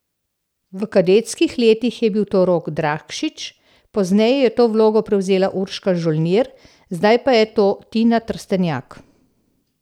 V kadetskih letih je bil to Rok Drakšič, pozneje je to vlogo prevzela Urška Žolnir, zdaj pa je to Tina Trstenjak.